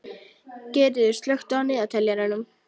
Geirríður, slökktu á niðurteljaranum.